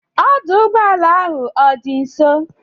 Ọdụụgbọala ahụ ọ dị nso?